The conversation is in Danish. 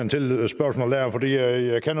er